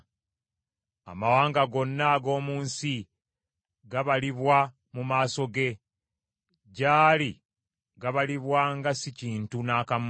Amawanga gonna ag’omu nsi gabalibwa mu maaso ge, gy’ali gabalibwa nga si kintu n’akamu.